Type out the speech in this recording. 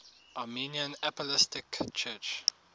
armenian apostolic church